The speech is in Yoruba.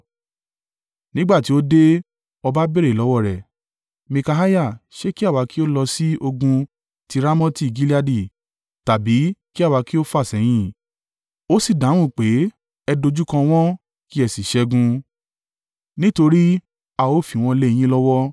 Nígbà tí ó dé, ọba béèrè lọ́wọ́ rẹ̀, “Mikaiah, ṣe kí àwa ki ó lọ sí ogun ti Ramoti Gileadi, tàbí kí àwa kí ó fàsẹ́yìn?” Ó sì dáhùn pé, “Ẹ dojúkọ wọ́n kí ẹ sì ṣẹ́gun, nítorí a ó fi wọ́n lé yín lọ́wọ́.”